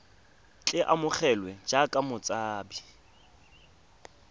tle a amogelwe jaaka motshabi